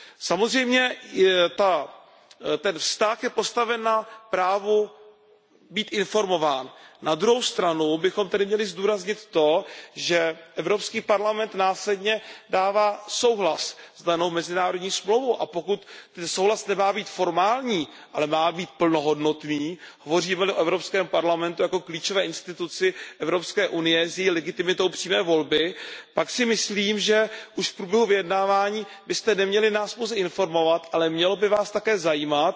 Samozřejmě je ten vztah postaven na právu být informován, na druhou stranu bychom tady měli zdůraznit to, že Evropský parlament následně dává souhlas s danou mezinárodní dohodou, a pokud ten souhlas nemá být formální, ale má být plnohodnotný, hovoříme li o Evropském parlamentu jako o klíčové instituci Evropské unie s její legitimitou přímé volby, pak si myslím, že v průběhu vyjednávání byste nás již neměli pouze informovat, ale mělo by vás také zajímat,